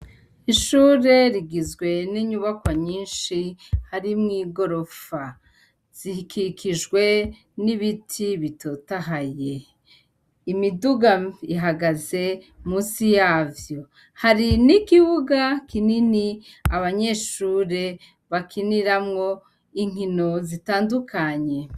Ishure rigizwe n'inyubakwa nyishi harimw'igorofa. zikikijwe n'ibiti bitotahaye, Imiduga ihagaze musi yavyo, hari n'ikibuga kinini abanyeshure bakiniramwo inkino zitandukanye.